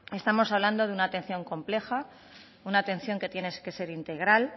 estamos hablando de una atención compleja una atención que tiene que ser integral